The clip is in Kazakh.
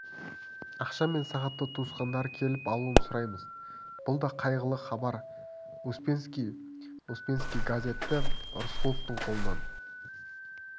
ақша мен сағатты туысқандары келіп алуын сұраймыз бұл да қайғылы хабар успенский успенский газетті рысқұловтың қолынан